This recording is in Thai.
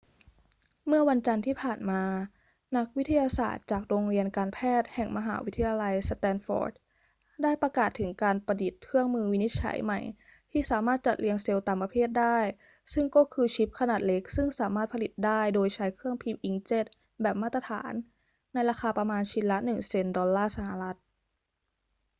เมื่อวันจันทร์ที่ผ่านมา นักวิทยาศาสตร์จากโรงเรียนการแพทย์แห่งมหาวิทยาลัยสแตนฟอร์ดได้ประกาศถึงการประดิษฐ์เครื่องมือวินิจฉัยใหม่ที่สามารถจัดเรียงเซลล์ตามประเภทได้ ซึ่งก็คือชิปขนาดเล็กซึ่งสามารถผลิตได้โดยใช้เครื่องพิมพ์อิงค์เจ็ตแบบมาตรฐานในราคาประมาณชิ้นละหนึ่งเซ็นต์ดอลลาร์สหรัฐ